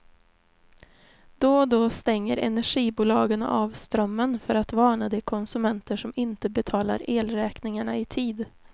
Då och då stänger energibolagen av strömmen för att varna de konsumenter som inte betalar elräkningarna i tid.